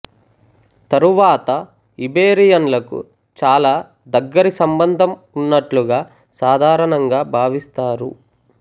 తరువాత ఇబెరియన్లకు చాలా దగ్గరి సంబంధము ఉన్నట్లుగా సాధారణంగా భావిస్తారు